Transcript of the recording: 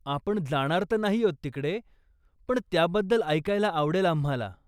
आपण जाणार तर नाहीयोत तिकडे, पण त्याबद्दल ऐकायला आवडेल आम्हाला.